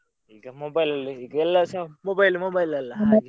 ಈಗ mobile ಲಲ್ಲಿ ಈಗ ಎಲ್ಲಸ mobile mobile ಅಲ್ಲಾ.